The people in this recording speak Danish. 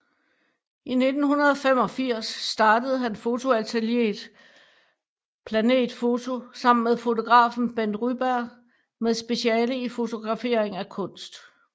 I 1985 startede han fotoatelier Planet foto sammen med fotografen Bent Ryberg med speciale i fotografering af kunst